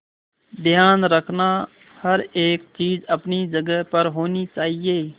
ध्यान रखना हर एक चीज अपनी जगह पर होनी चाहिए